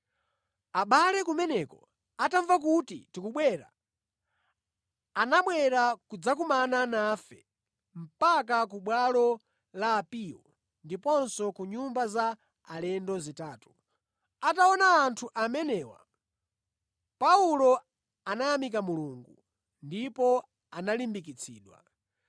Abale kumeneko atamva kuti tikubwera, anabwera kudzakumana nafe mpaka ku bwalo la Apiyo ndiponso ku nyumba za alendo zitatu. Atawaona anthu amenewa Paulo anayamika Mulungu ndipo analimbikitsidwa.